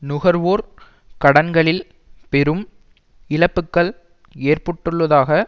நுகர்வோர் கடன்களில் பெரும் இழப்புக்கள் ஏற்புட்டுள்ளதாக